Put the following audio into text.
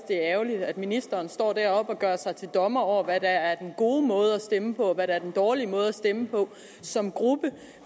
det er ærgerligt at ministeren står deroppe og gør sig til dommer over hvad der er den gode måde at stemme på og hvad der er den dårlige måde at stemme på som gruppe